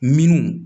Minnu